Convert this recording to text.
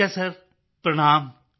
ਠੀਕ ਹੈ ਸਰ ਪ੍ਰਣਾਮ